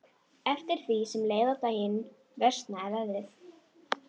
Eftir því sem leið á daginn versnaði veðrið.